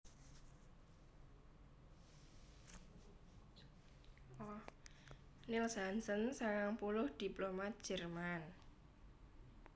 Niels Hansen sangang puluh diplomat Jerman